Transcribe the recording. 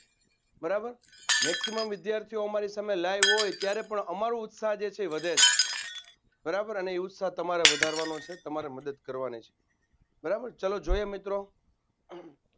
બરાબ maximum વિધાર્થીઓ અમારી સામે live હોય ત્યારે પણ આમરું ઉત્સાહ જે છે એ વધે છે બરાબર અને એ ઉત્સાહ તમારે વધારવાનો છે. તમારે મદત કરવાની છે. બરાબર ચલો જોઈએ મિત્રો